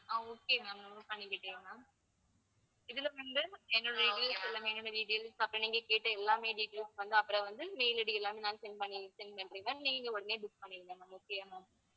ஆஹ் okay ma'am note பண்ணிக்கிட்டேன் ma'am இதுல வந்து என்னுடைய details எல்லாமே என்னுடைய details அப்புறம் நீங்கக் கேட்ட எல்லாமே details வந்து அப்புறம் வந்து mail ID எல்லாமே நான் send பண்ணி send பண்றேன் ma'am நீங்க உடனே book பண்ணிடுங்க ma'am okay யா ma'am